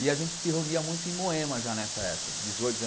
E a gente se reunia muito em Moema já nessa época. dezoito